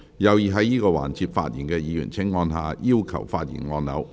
有意在這個環節發言的議員請按下"要求發言"按鈕。